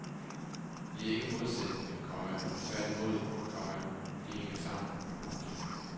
De er ikke modsætninger, komma tværtimod, komma de hænger sammen. punktum